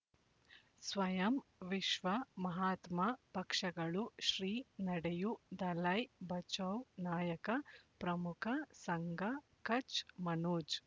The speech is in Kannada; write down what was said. ಸ್ವಯಂ ವಿಶ್ವ ಮಹಾತ್ಮ ಪಕ್ಷಗಳು ಶ್ರೀ ನಡೆಯೂ ದಲೈ ಬಚೌ ನಾಯಕ ಪ್ರಮುಖ ಸಂಘ ಕಚ್ ಮನೋಜ್